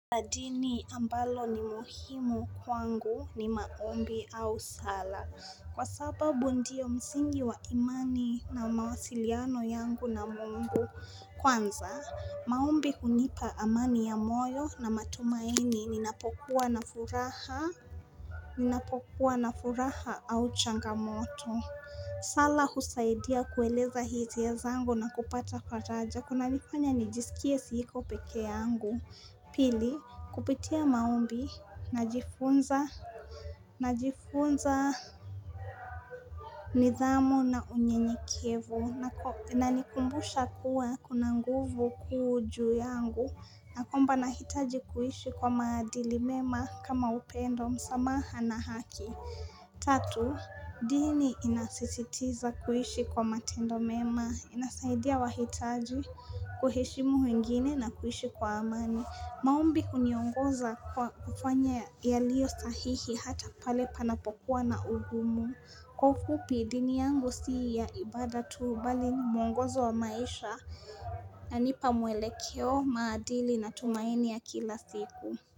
Za dini ambalo ni muhimu kwangu ni maombi au sala. Kwa sababu ndio msingi wa imani na mawasiliano yangu na mungu kwanza. Maombi hunipa amani ya moyo na matumaini ninapokuwa na furaha ninapokuwa na furaha au changamoto. Sala husaidia kueleza hisia zangu na kupata faraja. Kunanifanya nijisikie siko peke yangu. Pili, kupitia maombi najifunza najifunza nidhamu na unyenyekevu na inanikumbusha kuwa kuna nguvu kuu juu yangu na kwamba nahitaji kuishi kwa maadili mema kama upendo msamaha na haki. Tatu, dini inasititiza kuishi kwa matendo mema, inasaidia wahitaji kuheshimu wengine na kuishi kwa amani. Maombi huniongoza kwa kufanya yaliyo sahihi hata pale panapokuwa na ugumu Kwa ufupi dini yangu si ya ibada tu mbali mwongozo wa maisha Inanipa mwelekeo maadili na tumainia ya kila siku.